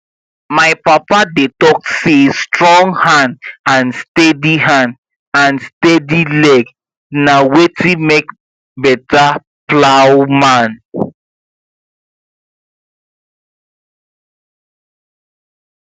my papa dey talk say strong hand and steady hand and steady leg na wetin make better plowman